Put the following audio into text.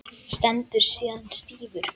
Stendur síðan stífur.